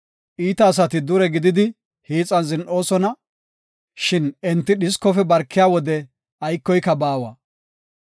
Iita asati dure gididi hiixan zin7oosona; shin enti dhiskofe barkiya wode aykoyka baawa.